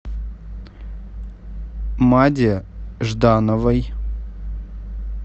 маде ждановой